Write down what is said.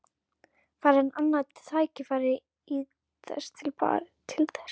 Fær hann annað tækifæri til þess í París?